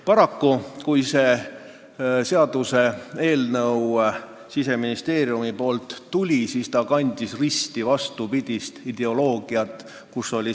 Paraku, kui see seaduseelnõu Siseministeeriumist tuli, siis kandis see risti vastupidist ideoloogiat.